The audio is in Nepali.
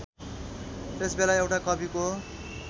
त्यसबेला एउटा कविको